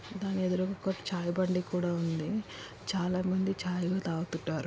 ధాని ఎదురుగా ఒక చాయి బండి కూడా ఉంది. చాలా మంది చాయి లు తాగుతునరు.